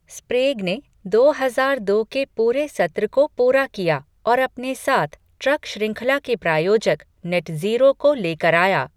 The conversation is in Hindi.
स्प्रेग ने दो हजार दो के पूरे सत्र को पूरा किया और अपने साथ ट्रक श्रृंखला के प्रायोजक, नेटज़ीरो को लेकर आया।